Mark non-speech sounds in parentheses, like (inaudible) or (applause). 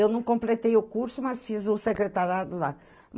Eu não completei o curso, mas fiz o (unintelligible) lá.